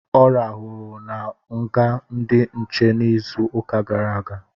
Ọ rahụru na nga ndị nche izu ụka gara aga